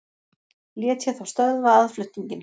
Lét ég þá stöðva aðflutninginn.